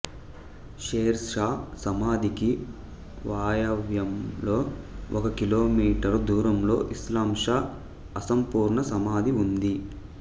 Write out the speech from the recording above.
share Shah సమాధికి వాయవ్యంలో ఒక కిలోమీటరు దూరంలో ఇస్లాం షా అసంపూర్ణ సమాధి ఉంది